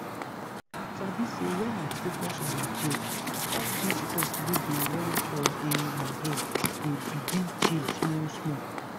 you sabi say when i focus on my breath all those thoughts wey dey run for um my head go begin chill small small.